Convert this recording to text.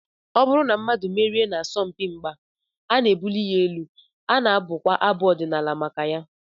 Ọ bụrụ na mmadụ emerie n'asọmpi mgba, a na-ebuli ya elu, a na-abụkwa abụ ọdịnala maka ya.